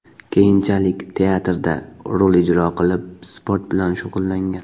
Keyinchalik teatrda rol ijro qilib, sport bilan shug‘ullangan.